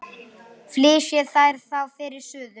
Flysjið þær þá fyrir suðu.